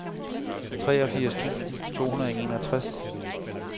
treogfirs tusind to hundrede og enogtres